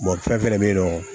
Bolifɛn fɛnɛ bɛ yen nɔ